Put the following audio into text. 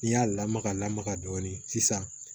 N'i y'a lamaga lamaga dɔɔnin sisan